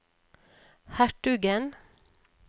hertugen